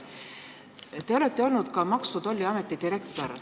Te olete olnud ka Maksu- ja Tolliameti direktor.